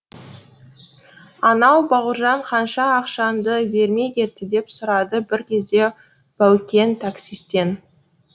анау бауыржан қанша ақшаңды бермей кетті деп сұрады бір кезде баукең таксистен